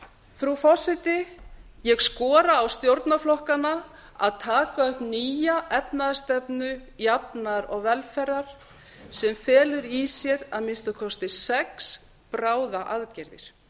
frú forseti ég skora á stjórnarflokkana að taka upp nýja efnahagsstefnu jafnaðar og velferðar sem felur í sér að minnsta kosti sex bráðaaðgerðir